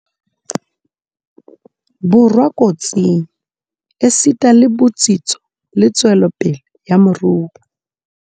Borwa kotsing, esita le botsitso le tswelopele ya moruo.